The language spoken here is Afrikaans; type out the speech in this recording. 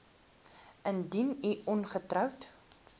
indien u ongetroud